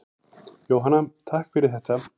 Jóhanna: Takk fyrir þetta.